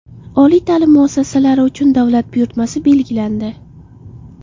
Oliy ta’lim muassasalari uchun davlat buyurtmasi belgilandi.